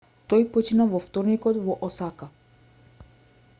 тој почина во вторникот во осака